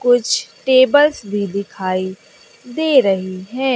कुछ टेबल्स भी दिखाई दे रही है।